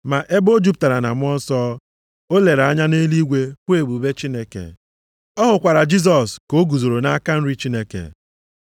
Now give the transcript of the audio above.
Ma ebe o jupụtara na Mmụọ Nsọ, o lere anya nʼeluigwe hụ ebube Chineke. Ọ hụkwara Jisọs ka o guzoro nʼaka nri Chineke.